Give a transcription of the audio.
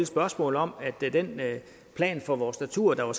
spørgsmål om den plan for vores natur der er